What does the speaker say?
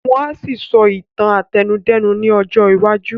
Wọ́n á ṣì sọ Ìtàn àtẹnudẹ́nu ní ọjọ́ iwájú